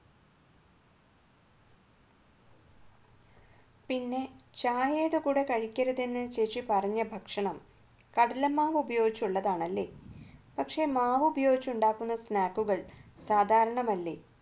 പിന്നെ ചായയുടെ കൂടെ കഴിക്കരുത് ചേച്ചി പറഞ്ഞ ഭക്ഷണം കടലമാവ് ഉപയോഗിച്ചുള്ളതാണല്ലേ പക്ഷേ മാവ് ഉപയോഗിച്ച് ഉണ്ടാക്കുന്ന snack കൾ സാധാരണമല്ലേ